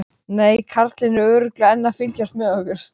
Nei, karlinn er örugglega enn að fylgjast með okkur.